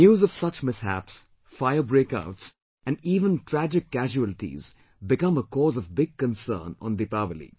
News of such mishaps, fire breakouts and even tragic casualties become a cause of big concern on Deepawali